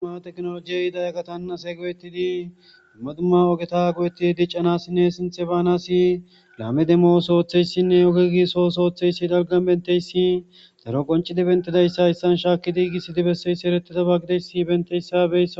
Hayssa misileza bolla tani xeelishin taasi ha'i beetizay aaze gizayssa giddikko tani be'iza mala woykko tani xeeliza wodeboothara xaafetidayssakko.